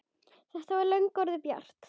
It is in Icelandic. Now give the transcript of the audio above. Það var löngu orðið bjart.